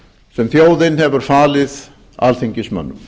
sem þjóðin hefur falið alþingismönnum